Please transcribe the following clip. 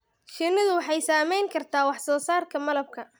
Shinnidu waxay saameyn kartaa wax soo saarka malabka.